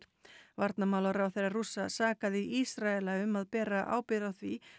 varnarmálaráðherra Rússa sakaði Ísraela um að bera ábyrgð á því